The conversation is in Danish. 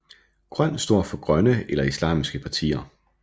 Grøn står for grønne eller islamiske partier